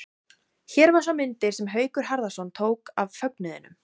Hér má sjá myndir sem Haukur Harðarson tók af fögnuðinum.